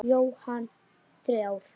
Jóhann: Þrjár?